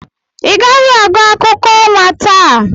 Ị gaghị aga akụkọ ọnwa taa.